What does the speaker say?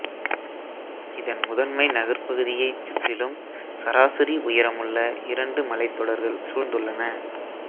இதன் முதன்மை நகர்ப்பகுதியைச் சுற்றிலும் சராசரி உயரமுள்ள இரண்டு மலைத் தொடர்கள் சூழ்ந்துள்ளன